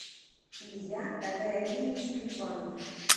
илья тагаалиевич грибанов